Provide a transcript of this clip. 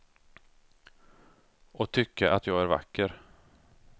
Och tycka att jag är vacker.